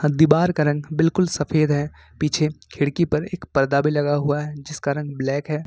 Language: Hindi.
दीवार का रंग बिल्कुल सफेद है पीछे खिड़की पर एक पर्दा भी लगा हुआ है जिसका रंग ब्लैक है।